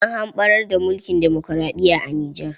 An hamɓarar da mulkin demoraɗiya a Nijar.